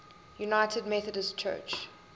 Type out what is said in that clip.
united methodist church